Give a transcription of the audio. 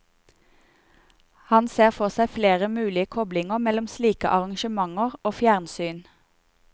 Han ser for seg flere mulige koblinger mellom slike arrangementer og fjernsyn.